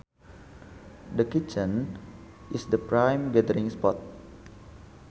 The kitchen is the prime gathering spot